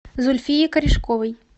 зульфии корешковой